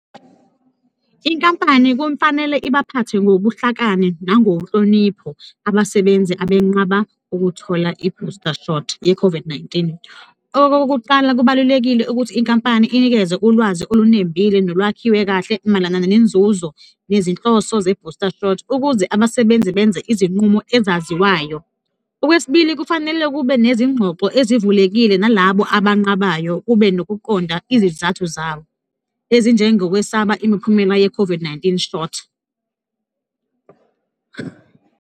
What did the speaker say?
Inkampani kufanele ibaphathe ngobuhlakani nangohlonipho abasebenzi abenqaba ukuthola i-booster shot ye-COVID-19-i. Okokuqala, kubalulekile ukuthi inkampani inikeze ulwazi olunembile nolwakhiwe kahle mayelana nenzuzo nezinhloso ze-booster shot ukuze abasebenzi benze izinqumo ezaziwayo. Okwesibili, kufanele kube nezingxoxo ezivulekile nalabo abanqabayo, kube nokuqonda izizathu zabo ezinjengokwesaba imiphumela ye-COVID-19 shot.